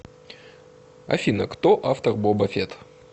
афина кто автор боба фетт